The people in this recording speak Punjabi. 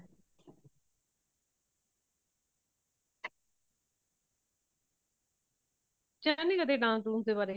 ਸੋਚਿਆ ਨਹੀਂ ਕਦੇ dance ਦੁਨਸ ਦੇ ਬਾਰੇ